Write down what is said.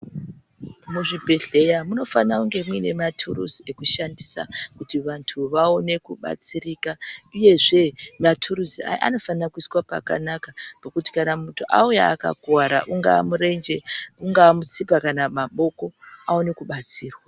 Muzvibhedhleya munofanira kunge muine maturuzi ekushandisa kuti vantu vaone kubatsirika, uyezve maturuzi aya anofanira kuiswa pakanaka pekuti kana muntu auya akakuvara ungaa murenje, ungaa mutsipa kana maboko aone kubatsira.